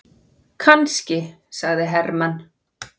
Kannski, sagði Hermann.